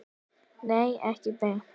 Nei, ekki beint.